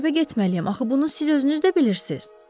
Məktəbə getməliyəm, axı bunu siz özünüz də bilirsiniz?